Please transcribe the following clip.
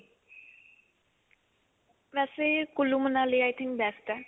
ਵੈਸੇ Kullu, Manali I think best ਹੈ.